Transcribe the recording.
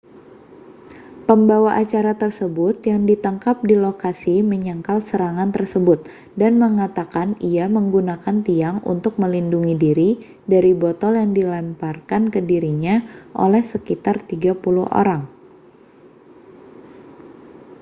pembawa acara tersebut yang ditangkap di lokasi menyangkal serangan tersebut dan mengatakan ia menggunakan tiang untuk melindungi diri dari botol yang dilemparkan ke dirinya oleh sekitar 30 orang